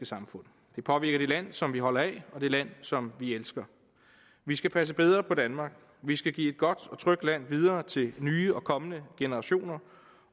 samfund det påvirker det land som vi holder af og det land som vi elsker vi skal passe bedre på danmark vi skal give et godt og trygt land videre til nye og kommende generationer